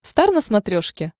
стар на смотрешке